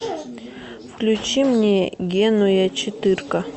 включи мне генуя четырка